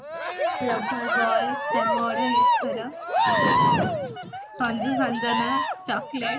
lover boy ପ୍ରେମ ଅଢେଇ ଅକ୍ଷର ସଞ୍ଜୁ ସଞ୍ଜନା chocolate